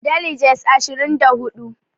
Deliges ashirin da hudu